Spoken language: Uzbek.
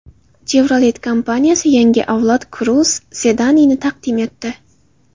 Chevrolet kompaniyasi yangi avlod Cruze sedanini taqdim etdi.